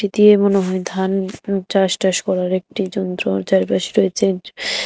দিয়ে মনে হয় ধান চাষ-টাস করার একটি যন্ত্র যার পাশে রয়েছে--